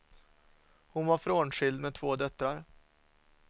Hon var frånskild med två döttrar.